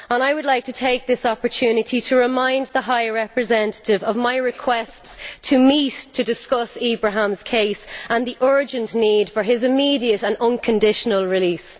I would like to take this opportunity to remind the High Representative of my requests to meet to discuss Ibrahim's case and the urgent need for his immediate and unconditional release.